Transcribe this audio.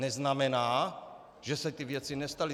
Neznamená, že se ty věci nestaly.